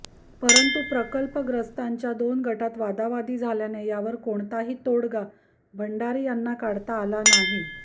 परंतू प्रकल्पग्रस्तांच्या दोन गटात वादावादी झाल्याने यावर कोणताही तोडगा भंडारी यांना काढता आला नाही